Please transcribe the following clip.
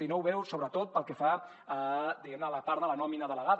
i no ho veu sobretot pel que fa a diguem ne la part de la nòmina delegada